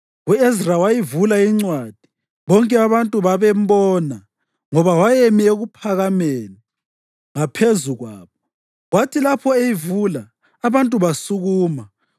U-Ezra wayivula incwadi. Bonke abantu babembona ngoba wayemi ekuphakameni ngaphezu kwabo; kwathi lapho eyivula abantu basukuma.